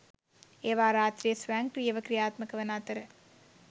ඒවා රාත්‍රියේ ස්වයංක්‍රීයව ක්‍රියාත්මක වන අතර